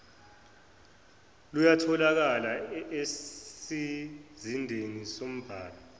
luyatholaka esizindeni sembhalo